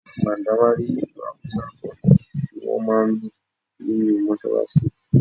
Mandawari ìlù Hausa kan ni wón máa ń lù nínú Mọ́ṣálásí.